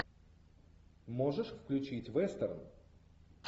можешь включить вестерн